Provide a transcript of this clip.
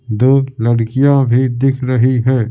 दो लड़कियां भी दिख रही है ।